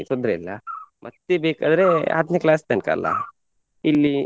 ತೊಂದ್ರೆ ಇಲ್ಲ ಮತ್ತೆ ಬೇಕಾದ್ರೆ ಹತ್ನೆ class ತನ್ಕ ಅಲ್ಲ ಇಲ್ಲಿ .